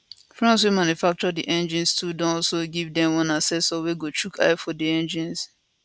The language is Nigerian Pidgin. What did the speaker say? france wey manufacture di engines too don also give dem one accessor wey go chook eye for di engines